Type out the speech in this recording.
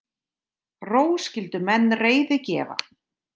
Ró skyldu menn reiði gefa.